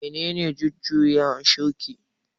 Menene jujuya shuƙi?